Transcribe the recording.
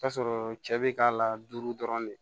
K'a sɔrɔ cɛ be k'a la duuru dɔrɔn de